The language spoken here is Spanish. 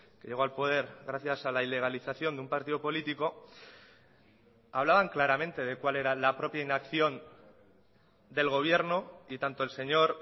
que llegó al poder gracias a la ilegalización de un partido político hablaban claramente de cuál era la propia inacción del gobierno y tanto el señor